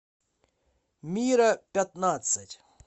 мира пятнадцать